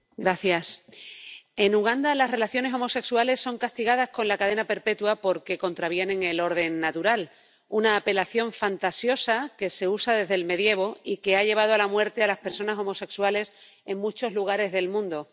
Señor presidente, en Uganda, las relaciones homosexuales son castigadas con la cadena perpetua porque contravienen el orden natural, una apelación fantasiosa que se usa desde el medievo y que ha llevado a la muerte a las personas homosexuales en muchos lugares del mundo.